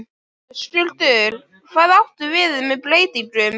Höskuldur: Hvað áttu við með breytingum?